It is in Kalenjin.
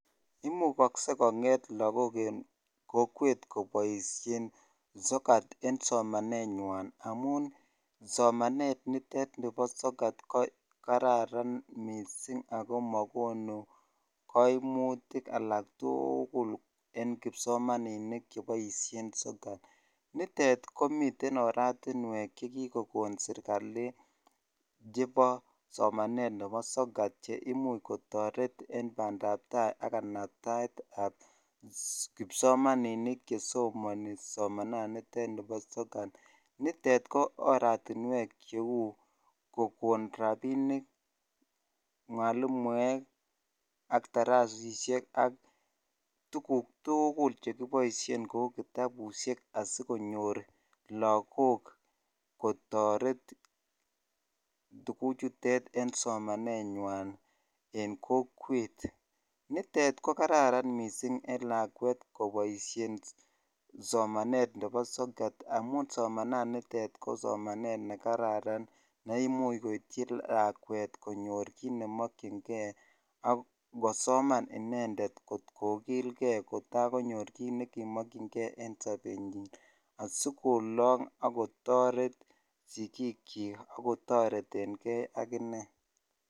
Imukokse en kokwet koboishen sokat en somanenywan amun somanet nitet nibo sokat ko kararan mising ak ko mokonu koimutik alak tukul en kipsomaninik cheboishen sokat, nitet komiten oratinwek chekikokon serikali chebo somanet chebo sokat cheimuch kotoret en bandab taai ak kanabtaetab kipsomaninik chesomoni somananitet nibo sokat, nitet ko oratinwek cheuu kokon rabinik, mwalimuek ak darasishek ak tukuk tukul chekibouishen kou kitabushek asikonyor lokok kotoret tukuchutet en somanenywan en kokwet, nitet ko kararan mising en lakwet koboishen somanet nebo sokat amun somananitet ko somanet nekararan neimuch koityi lakwet konyor kiit nemokying'e ak kosoman inendet kot kokilke kotakonyor kiit nekimokyinge en sobenyin asikolong ak kotoret sikiikyik ak kotoreteng'e akine.